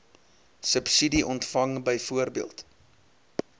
subsidie ontvang byvoorbeeld